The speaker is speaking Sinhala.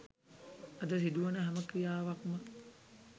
අද සිදුවන හැම ක්‍රියාවක්ම